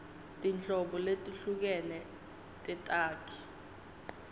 tinhlobo letehlukene tetakhi